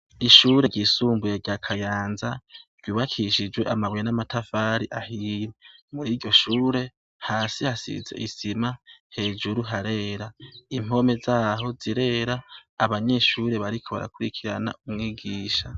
Ishure ryisumbuye rya Kayanza ryubakishijwe amabuye n'amatafari ahiye, muri iryo shure hasi hasize isima hejuru harera, impome zaho zirera, abanyeshuri bariko barakurikirana umwigisha.